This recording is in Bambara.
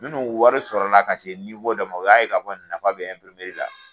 Minnuu wari sɔrɔla ka se dɔ ma, u y'a ye ka fɔ nafa be la